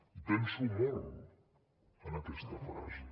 hi penso molt en aquesta frase